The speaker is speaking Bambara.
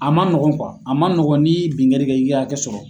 A ma nɔgɔn a ma nɔgɔn ni ye bingani kɛ i bɛ hakɛ sɔrɔ.